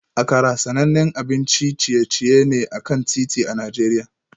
Akara sanannen abincin ciye-ciye ne a kan titi a Najeriya